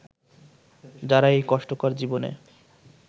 যারা এই কষ্টকর জীবনে